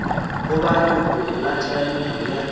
goba leloko la theramelao ya